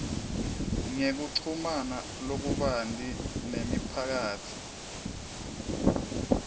ngekuchumana lokubanti nemiphakatsi